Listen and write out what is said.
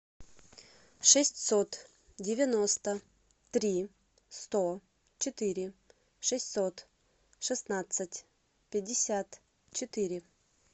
шестьсот девяносто три сто четыре шестьсот шестнадцать пятьдесят четыре